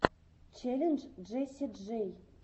челлендж джесси джей